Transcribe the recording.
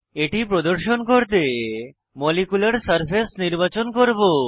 এটি প্রদর্শন করতে মলিকিউলার সারফেস নির্বাচন করব